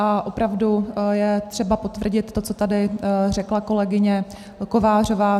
A opravdu je třeba potvrdit to, co tady řekla kolegyně Kovářová.